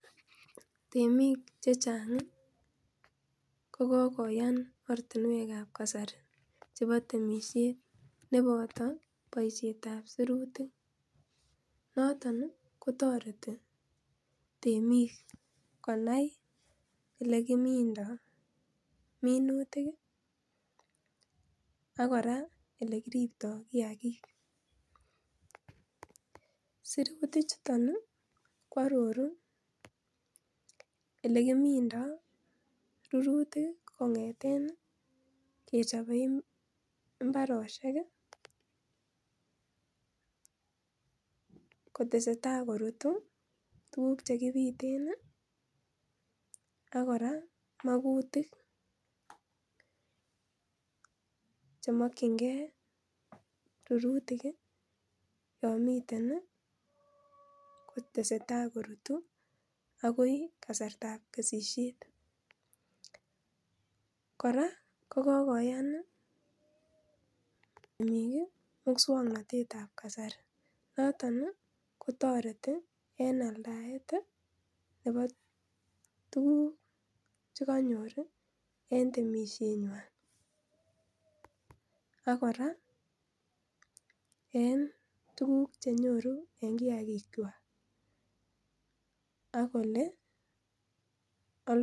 Temik chechang ko kokoyan ortinwekab kasari chebo temisiet neboto boisietab sirutik noton kotoreti temik konai elekimindoo minutik ak kora olekiriptoo kiyagik, sirutichuton kwororu elekimindoo rurutik ii kong'eten kechobee mbarosiek kotesetai korutu tukuk chekibiten ii ak kora magutik chemokyingee rurutik yon miten kotesee tai korutu akoi kasartab kesisiet ,kora kokoyan biik muswoknotetab kasari noton ii kotoreti en aldaet nebo tuguk chekonyor en temisienywan akora en tuguk chenyoru en kiagichwak akole aldochin.